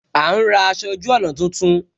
A ń ra aṣọ ojú ọna tuntun